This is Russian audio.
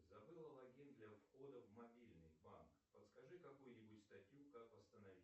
забыла логин для входа в мобильный банк подскажи какую нибудь статью как восстановить